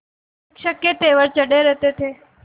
शिक्षक के तेवर चढ़े रहते थे